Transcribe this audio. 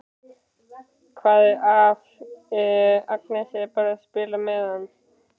Hvað ef Agnes er bara að spila með hann?